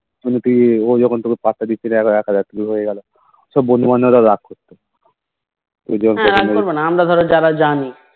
কি ও যখন তোমাকে পাত্তা দিচ্ছে না আবার ঠিক হয়ে গেলো ওসব বন্ধুবান্ধব টা রাগ করবে